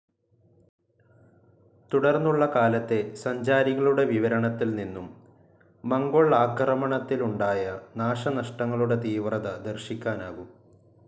തുടർന്നുള്ള കാലത്തെ സഞ്ചാരികളുടെ വിവരണത്തിൽ നിന്നും മംഗോൾ ആക്രമണത്തിലുണ്ടായ നാശനഷ്ടങ്ങളുടെ തീവ്രത ദർശിക്കാനാകും.